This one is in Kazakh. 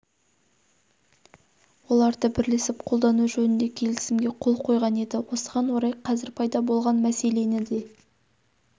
оларды бірлесіп қолдану жөнінде келісімге қол қойған еді осыған орай қазір пайда болған мәселені де